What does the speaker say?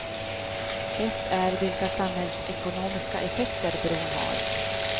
Ett är vilka samhällsekonomiska effekter bron har.